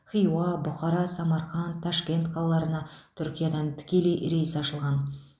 хиуа бұқара самарқанд ташкент қалаларына түркиядан тікелей рейс ашылған